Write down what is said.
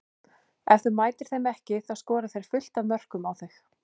Ef þú mætir þeim ekki þá skora þeir fullt af mörkum á þig.